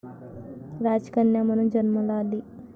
राजकन्या म्हणून जन्माला आली.